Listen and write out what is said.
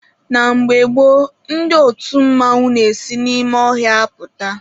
Na mgbe gboo, ndị otu mmanwụ n'esi n'ime ọhịa apụta.